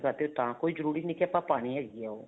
ਤੇ ਤਾਂ ਕੋਈ ਜਰੂਰੀ ਨਹੀਂ ਕੀ ਆਪਾਂ ਪਾਣੀ ਹੈਗੀ ਹੈ ਉਹ